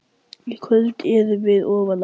Í kvöld erum við ofan á.